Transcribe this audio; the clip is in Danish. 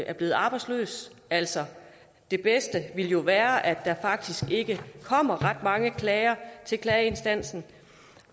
er blevet arbejdsløs altså det bedste ville jo være at der faktisk ikke kom ret mange klager til klageinstansen